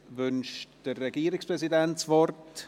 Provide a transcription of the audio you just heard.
Wünscht der Regierungspräsident das Wort?